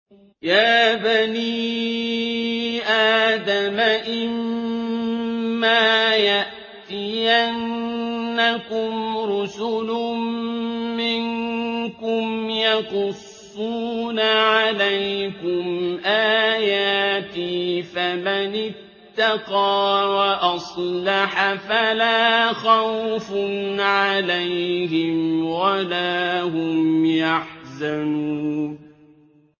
يَا بَنِي آدَمَ إِمَّا يَأْتِيَنَّكُمْ رُسُلٌ مِّنكُمْ يَقُصُّونَ عَلَيْكُمْ آيَاتِي ۙ فَمَنِ اتَّقَىٰ وَأَصْلَحَ فَلَا خَوْفٌ عَلَيْهِمْ وَلَا هُمْ يَحْزَنُونَ